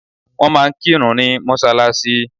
Wọ́n máa ń kírun ní mọ́sálásí.